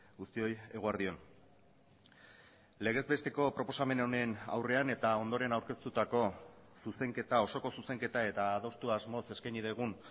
guztioi eguerdi on legez besteko proposamen honen aurrean eta ondoren aurkeztutako zuzenketa osoko zuzenketa eta adostu asmoz eskaini dugun